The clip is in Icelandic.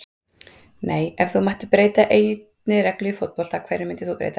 nei Ef þú mættir breyta einni reglu í fótbolta, hverju myndir þú breyta?